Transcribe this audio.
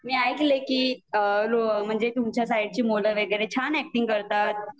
मी ऐलंय की म्हणजे तुमच्या साईडची मुलं वगैरे छान एक्टिंग करतात